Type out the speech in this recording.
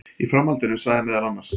Í framhaldinu sagði meðal annars